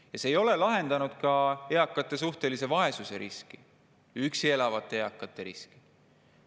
Ja see ei ole lahendanud ka eakate suhtelise vaesuse riski ega üksi elavate eakate riski.